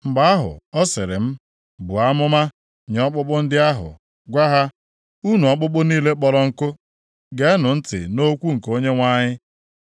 Mgbe ahụ, ọ sịrị m, “Buo amụma nye ọkpụkpụ ndị ahụ, gwa ha, ‘Unu ọkpụkpụ niile kpọrọ nkụ, geenụ ntị nʼokwu nke Onyenwe anyị.